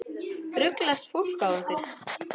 Ruglast fólk á ykkur?